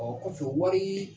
o kɔfɛ wɔrii